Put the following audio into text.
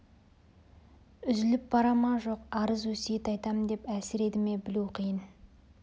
үзіліп бара ма жоқ арыз өсиет айтамын деп әлсіреді ме білу қиын